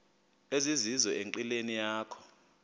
ezizizo enqileni yakho